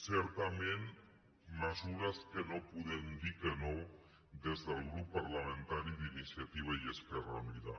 certament mesures que no hi podem dir que no des del grup parlamentari d’iniciativa esquerra unida